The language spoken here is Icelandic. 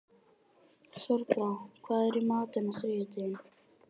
Þorbrá, hvað er í matinn á þriðjudaginn?